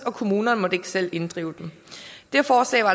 kommunerne ikke selv måtte inddrive dem det forslag var